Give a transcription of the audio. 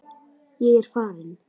Ég er farinn